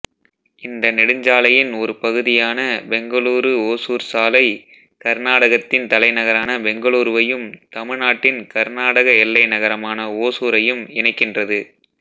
இந்த நெடுஞ்சாலையின் ஒரு பகுதியான பெங்களூருஓசூர் சாலை கர்நாடகத்தின் தலைநகரான பெங்களூருவையும் தமிழ்நாட்டின் கர்நாடக எல்லை நகரமான ஓசூரையும் இணைக்கின்றது